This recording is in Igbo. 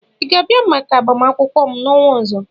ị ga-abịa maka agbamakwụkwọ m n'ọnwa ọzọ?